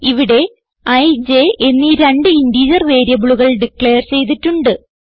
ഇവിടെ ഇ j എന്നീ രണ്ട് ഇന്റിജർ വേരിയബിളുകൾ ഡിക്ലയർ ചെയ്തിട്ടുണ്ട്